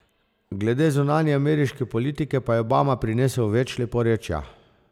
Glede zunanje ameriške politike pa je Obama prinesel več leporečja.